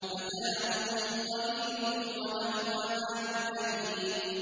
مَتَاعٌ قَلِيلٌ وَلَهُمْ عَذَابٌ أَلِيمٌ